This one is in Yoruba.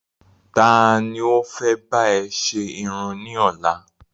Ta ni o fẹ́ bá e sẹ Irun ní ọ́la?